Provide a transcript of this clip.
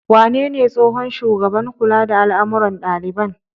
Wanene tsohon shugaban kula da al'amuran ɗaliban?